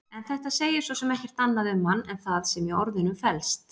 En þetta segir svo sem ekkert annað um hann en það sem í orðunum felst.